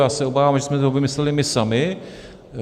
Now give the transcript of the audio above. Já se obávám, že jsme to vymysleli my sami.